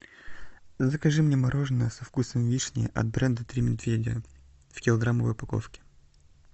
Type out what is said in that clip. закажи мне мороженое со вкусом вишни от бренда три медведя в килограммовой упаковке